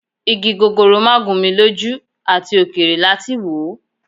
Igi gogoro má gún mi lójú, àti òkèèrè láti wò.